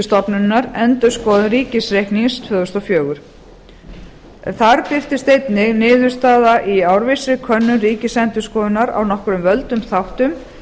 stofnunarinnar endurskoðun ríkisreiknings tvö þúsund og fjögur þar birtist einnig niðurstaða í árvissri könnun ríkisendurskoðunar á nokkrum völdum þáttum